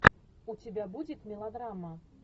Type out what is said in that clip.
у тебя будет мелодрама